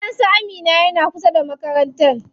Gidan su Amina yana kusa da makarantan.